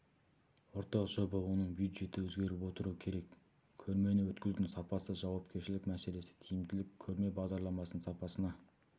ортақ жоба оның бюджеті өзгеріп отыруы керек көрмені өткізудің сапасы жауапкершілік мәселесі тиімділік көрме бағдарламасының сапасына